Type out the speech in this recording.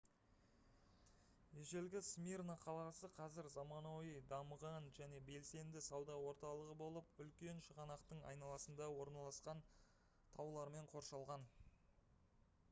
ежелгі смирна қаласы қазір заманауи дамыған және белсенді сауда орталығы болып үлкен шығанақтың айналасында орналасқан және таулармен қоршалған